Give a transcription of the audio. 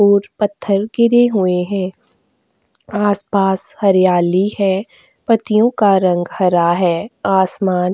और पत्थर गिरे हुए हैं आसपास हरियाली है पत्तियों का रंग हरा है आसमान --